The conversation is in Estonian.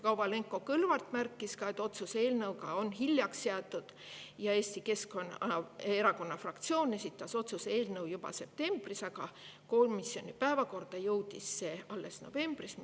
" Kovalenko-Kõlvart märkis ka, et otsuse eelnõuga on hiljaks jäädud ja Eesti Keskerakonna fraktsioon esitas otsuse eelnõu juba septembris, aga komisjoni päevakorda jõudis see alles novembris.